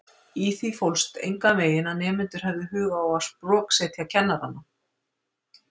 Í því fólst enganveginn að nemendur hefðu hug á að sproksetja kennarana.